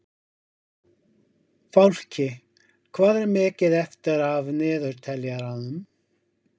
Fálki, hvað er mikið eftir af niðurteljaranum?